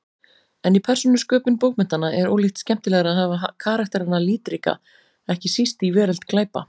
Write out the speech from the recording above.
En í persónusköpun bókmenntanna er ólíkt skemmtilegra að hafa karakterana litríka, ekki síst í veröld glæpa.